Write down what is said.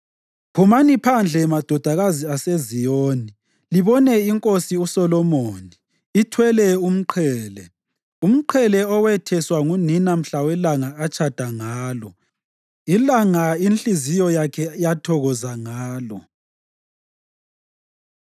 Phumani phandle madodakazi aseZiyoni, libone iNkosi uSolomoni ithwele umqhele, umqhele ewetheswa ngunina mhla welanga atshada ngalo, ilanga inhliziyo yakhe yathokoza ngalo.